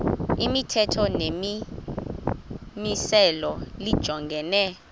imithetho nemimiselo lijongene